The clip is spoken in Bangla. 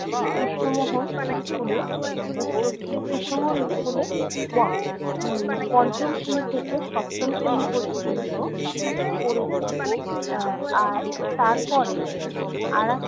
কৃষ্ণমোহন school এ উচ্চ~ উম কৃষ্ণমোহন school এ উহ পঞ্চম শ্রেণী থেকে সপ্তম শ্রেণী পর্যন্ত পড়েছি। আহ আর তারপরে আরেক